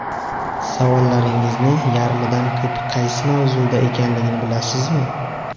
Savollaringizning yarmidan ko‘pi qaysi mavzuda ekanligini bilasizmi?